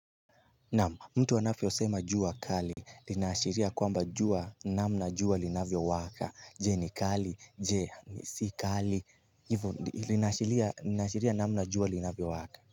Naam mtu anafyosema jua kali linaashiria kwamba jua namna jua linavyowaka Je ni kali, je ni si kali, hivyo linaashiria namna jua linafyowaka.